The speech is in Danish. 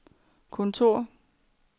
kontor